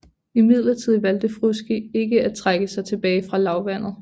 Imidlertid valgte Frusci ikke at trække sig tilbage fra lavlandet